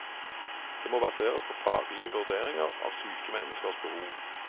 Det må baseres på faglige vurderinger av sykes menneskers behov.